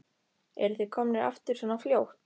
Eruð þið komnir aftur svona fljótt?